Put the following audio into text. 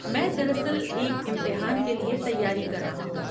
میں دراصل ایک امتحان کے لیے تیاری کر رہا ہوں۔